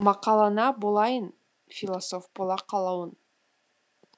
мақалыңа болайын философ бола қалуын